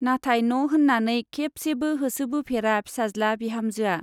नाथाय न' होन्नानै खेबसेबो होसोबोफेरा फिसाज्ला-बिहामजोआ।